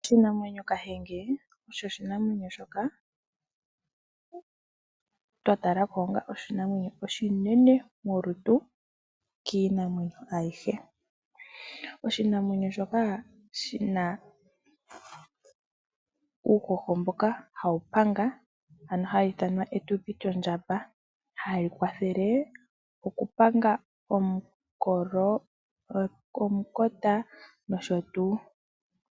Oshinamwenyo kahenge osho oshinamwenyo shoka twa tala ko onga oshinamwenyo oshinene molutu kiinamwenyo ayihe. Oshinamwenyo shoka shi na epumba ha li panga, ndyoka hali kwathele omukolo, omukota nosho tuu.